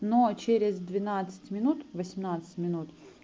но через двенадцать минут восемнадцать минут